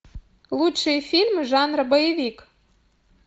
лучшие фильмы жанра боевик